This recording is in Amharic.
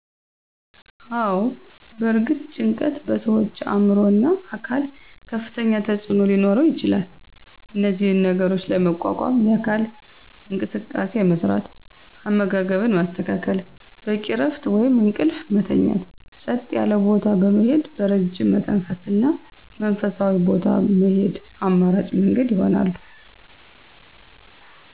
አወ በእርግጥ ጭንቀት በሠዋች አዕምሮ እና አካል ከፍተኛ ተፅዕኖ ሊኖረው ይችላል እነዚህን ነገሮች ለመቋቋም የአካል እንቅስቃሴ መስራት፣ አመጋገብን ማስተካከል፣ በቂ እረፍት ወይም እንቅልፍ መተኛት፣ ፀጥ ያለ ቦታ በመሄድ በረጅም መተንፈስ እና ወደ መንፈሳዊ ቦታ መሄድ አማራጭ መንገድ ይሆናሉ።